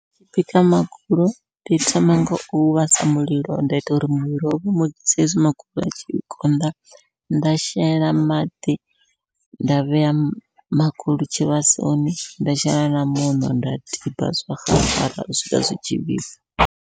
Ndi tshi bika magulu ndi thoma ngau vhasa mulilo, nda ita uri mulilo sa hezwi magulu atshi konḓa, nda shela maḓi nda vhea magulu tshivhasoni nda shela na muṋo nda tiba zwa xaxara u swika zwitshi vhibva.